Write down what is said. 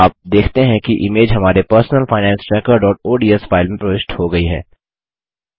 आप देखते हैं कि इमेज हमारे personal finance trackerओडीएस फाइल में प्रविष्ट हो गयी है